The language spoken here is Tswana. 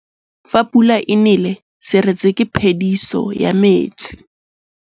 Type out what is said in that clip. Fa pula e nelê serêtsê ke phêdisô ya metsi.